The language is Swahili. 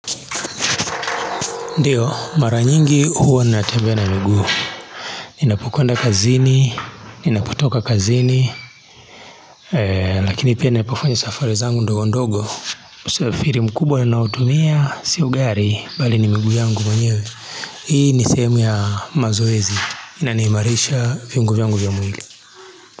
Ndiyo, mara nyingi huwa na tembea na mugu. Ninapukwenda kazini, ninaputoka kazini, lakini pia napofanya safari zangu ndo ndogo ndogo. Usafiri mkubwa na naotumia sio gari, bali ni mugu yangu manyewe. Hii ni sehemu ya mazoezi, inaniimarisha viungu yangu vya mwili.